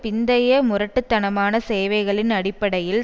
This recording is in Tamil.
பிந்தைய முரட்டு தனமான சேவைகளின் அடிப்படையில்